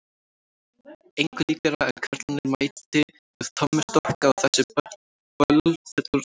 Engu líkara en karlarnir mæti með tommustokka á þessi böll fullorðna fólksins.